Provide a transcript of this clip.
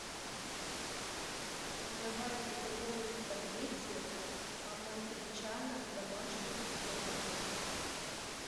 давай приготовим спагетти аматричана в домашних условиях